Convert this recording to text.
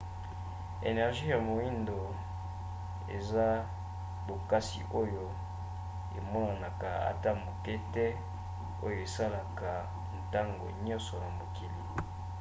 energie ya moindo eza bokasi oyo emonanaka ata moke te oyo esalaka ntango nyonso na mokili